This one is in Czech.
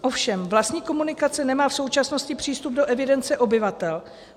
Ovšem vlastník komunikace nemá v současnosti přístup do evidence obyvatel.